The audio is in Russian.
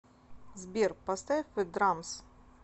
сбер поставь зе драмс